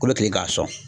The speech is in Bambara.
Kolo tigɛ k'a sɔn